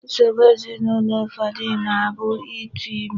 Nsogbu ezinụlọ ụfọdụ na-abụ ịtụ ime.